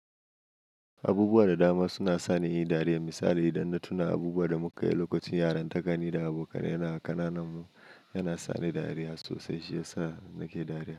Abubuwa da dama suna sani in yi dariya. Misali idan na tuna abubuwan da muka yi lokacin yaran takani da abokanai yana ƙananan mu, yana sa ni dariya sosai. Shi yasa nake dariya.